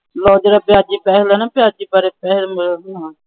ਲੈ ਜਿਹੜਾ ਵਿਆਜੂ ਪੈਸਾ ਹੁੰਦਾ ਨਾ ਵਿਆਜੂ ਪੈਸਾ